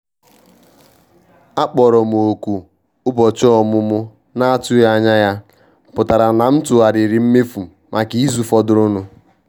Akpọrọ m òkù ụbọchị ọmụmụ na-atụghị anya ya pụtara na m tụgharịrị mmefu maka izu fọdụrụnụ